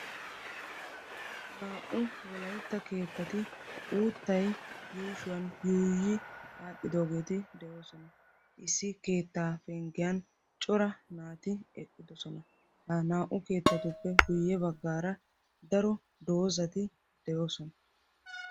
naa''u wolaytta keettati uttay yuushshuwan yuuyyi aadhdhidoogeeti de'oosna. issi keetta penggiyan cora naati eqqidoosna. naa''u keettatuppe guyye baggaara daro doozati de'oosona.